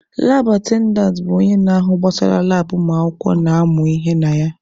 Laab atendantị bụ onye na-ahụ gbasara labụ ụmụakwụkwọ na-amụ ihe na ya.